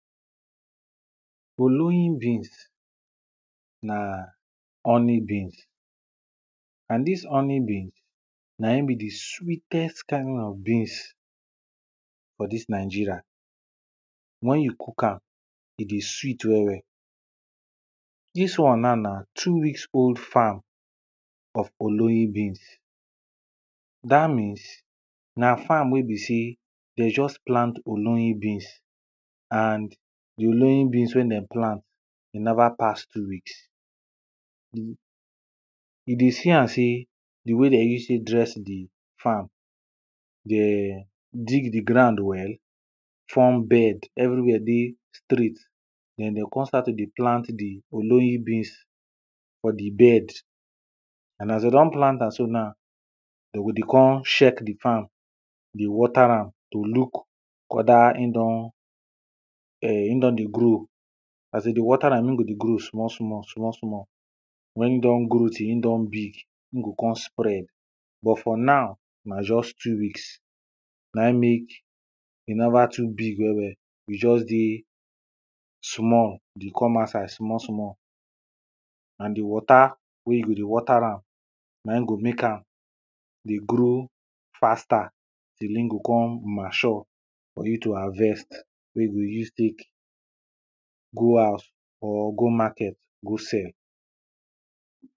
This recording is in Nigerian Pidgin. oloyin beans na honey beans. and dis honey bean, na in be the sweetest kind of beans for dis nigeria, wen you cook am e dey sweet well well. dis one na, na two weeks old farm of oloyin beans, dat means, na farm wey be sey, de just plant oloyin beans and the oloyin beans wey dem plant, e never pass two weeks. e dey see am sey, the way de use tey dress the farm. de dig the ground well, form bed everywhere dey straight, den de con start to dey plant the oloyin beans for the bed, and as de don plant am so now, de go dey con check the farm dey water am to look wether in don, um in don dey grow, as de dey water am in go dey grow small small, small small, wen indon grow till in don big, in go con spread but, for now na just two weeks, na in mek e never too big well well e just dey small, dey come outside small small and the water, wey you go dey water am na in go mek am dey grow faster, the ting go con mature for you to harvest, wey you go use tek go house, or go market go sell.